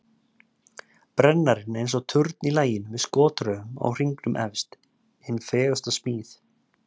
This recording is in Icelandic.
Brennarinn er eins og turn í laginu með skotraufum á hringnum efst, hin fegursta smíð.